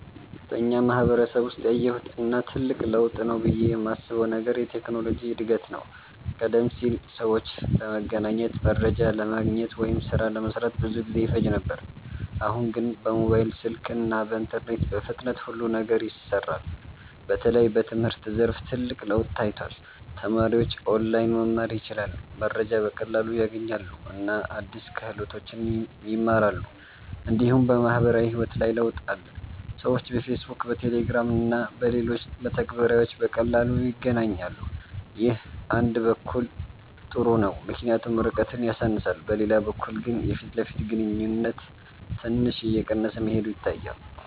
በእኛ ማህበረሰብ ውስጥ ያየሁት እና ትልቅ ለውጥ ነው ብዬ የማስበው ነገር የቴክኖሎጂ እድገት ነው። ቀደም ሲል ሰዎች ለመገናኘት፣ መረጃ ለማግኘት ወይም ሥራ ለመስራት ብዙ ጊዜ ይፈጅ ነበር። አሁን ግን በሞባይል ስልክ እና በኢንተርኔት በፍጥነት ሁሉ ነገር ይሰራል። በተለይ በትምህርት ዘርፍ ትልቅ ለውጥ ታይቷል። ተማሪዎች ኦንላይን መማር ይችላሉ፣ መረጃ በቀላሉ ያገኛሉ እና አዲስ ክህሎቶችን ይማራሉ። እንዲሁም በማህበራዊ ህይወት ላይ ለውጥ አለ። ሰዎች በፌስቡክ፣ በቴሌግራም እና በሌሎች መተግበሪያዎች በቀላሉ ይገናኛሉ። ይህ አንድ በኩል ጥሩ ነው ምክንያቱም ርቀትን ያሳንሳል፤ በሌላ በኩል ግን የፊት ለፊት ግንኙነት ትንሽ እየቀነሰ መሄዱ ይታያል።